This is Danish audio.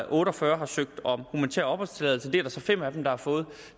og otte og fyrre søgt om humanitær opholdstilladelse det er der så fem af dem der har fået